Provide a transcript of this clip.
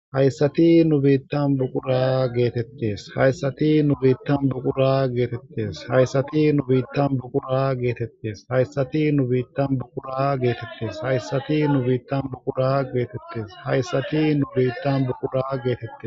Hayssati nu biittan buqura geetettes hayssati nu biittan buqura geetettes hayssati nu biittan buqura geetettes hayssati nu biittan buqura geetettes hayssati nu biittan buqura geetettes hayssati nu biittan buqura geetettes.